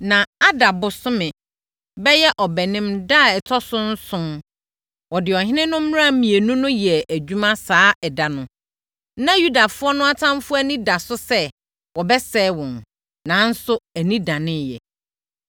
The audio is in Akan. Na Adar bosome (bɛyɛ Ɔbɛnem) da a ɛtɔ so nson, wɔde ɔhene no mmara mmienu no yɛɛ adwuma. Saa ɛda no, na Yudafoɔ no atamfoɔ no ani da so sɛ, wɔbɛsɛe wɔn, nanso ani daneeɛ.